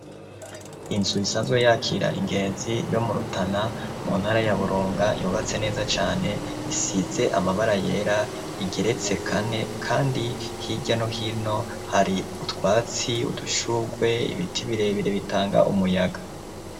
Inzu, isanzwe yakira ingenzi, yo mu Rutana, mu ntara ya Burunga, yubatse neza cane; isize amabara yera, igeretse kane, kandi hirya no hino, hari utwatsi, udushurwe, ibiti birebire, bitanga umuyaga.